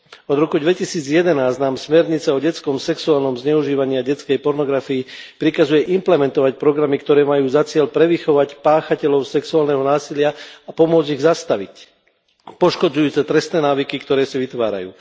Od roku 2011 nám smernica o detskom sexuálnom zneužívaní a detskej pornografii prikazuje implementovať programy, ktoré majú za cieľ prevychovať páchateľov sexuálneho násilia a pomôcť ich zastaviť, ako aj poškodzujúce trestné návyky, ktoré si vytvárajú.